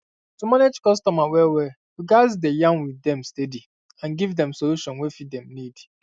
to manage customer wellwell you gats dey yarn with dem steady and give dem solution wey fit dem need